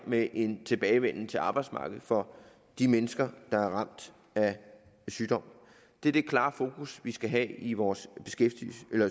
med en tilbagevenden til arbejdsmarkedet for de mennesker der er ramt af sygdom det er det klare fokus vi skal have i vores